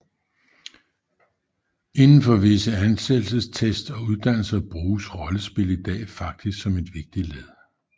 Indenfor visse ansættelsestest og uddannelser bruges rollespil i dag faktisk som en vigtig del